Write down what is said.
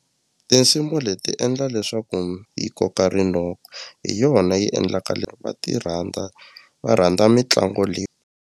Tinsimu leti endla leswaku yi koka rinoko hi yona yi endlaka va ti rhandza va rhandza mitlangu .